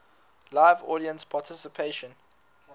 live audience participation